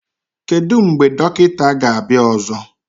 Kedu mgbe dọkịta ga-abịa ọzọ?